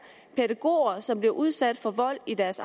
pædagoger som bliver udsat for vold i deres